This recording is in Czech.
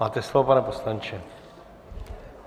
Máte slovo, pane poslanče.